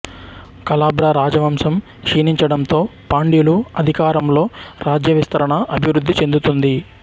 కళాభ్రా రాజవంశం క్షీణించడంతో పాండ్యులు అధికారంలో రాజ్యవిస్తరణ అభివృద్ధి చెందుతుంది